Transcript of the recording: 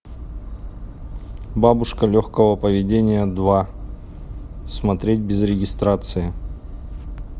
бабушка легкого поведения два смотреть без регистрации